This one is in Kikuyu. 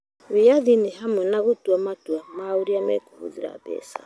Wĩyathi nĩ hamwe na gũtua matua ma ũrĩa mekũhũthĩra mbeca